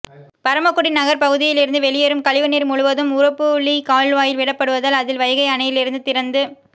பரமக்குடி நகா் பகுதியிலிருந்து வெளியேறும் கழிவுநீா் முழுவதும் உரப்புளி கால்வாயில் விடப்படுவதால் அதில் வைகை அணையிலிருந்து திறந்து